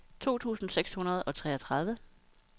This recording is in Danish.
to tusind seks hundrede og treogtredive